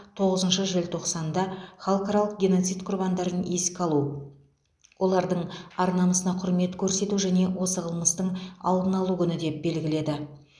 тоғызыншы желтоқсанды халықаралық геноцид құрбандарын еске алу олардың ар намысына құрмет көрсету және осы қылмыстың алдын алу күні деп белгіледі